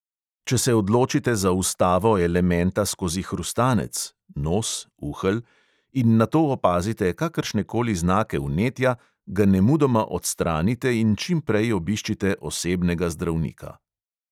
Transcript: Če se odločite za vstavo elementa skozi hrustanec (nos, uhelj) in nato opazite kakršne koli znake vnetja, ga nemudoma odstranite in čim prej obiščite osebnega zdravnika.